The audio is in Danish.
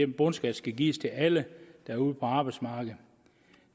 bundskatten skal gives til alle der er ude på arbejdsmarkedet